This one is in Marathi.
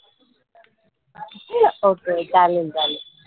ok चालन चालन.